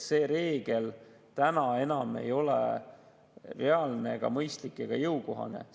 See reegel ei ole enam reaalne, mõistlik ega jõukohane.